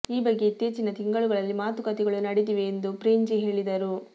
ಈ ಬಗ್ಗೆ ಇತ್ತೀಚಿನ ತಿಂಗಳುಗಳಲ್ಲಿ ಮಾತುಕತೆಗಳೂ ನಡೆದಿವೆ ಎಂದು ಪ್ರೇಂಜಿ ಹೇಳಿದರು